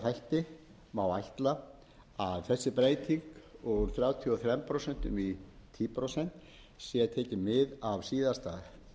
þætti má áætla að þessi breyting úr þrjátíu og þrjú prósent í tíu prósent sé tekið mið af síðasta